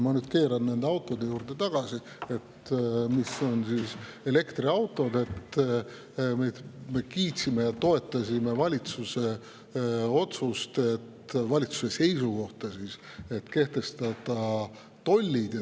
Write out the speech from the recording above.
Aga ma keeran nüüd autode, täpsemalt elektriautode juurde tagasi: me kiitsime ja toetasime valitsuse otsust, valitsuse seisukohta, et kehtestada tollid.